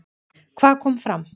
Hvað kom fram?